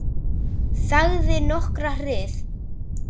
Þagði nokkra hríð.